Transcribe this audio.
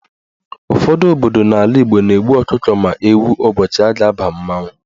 Ụfọdụ obodo n'ala Igbo na-egbu ọkụkọ ma ewu ụbọchị a ga-aba mmanwụ.